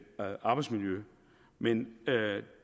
arbejdsmiljø men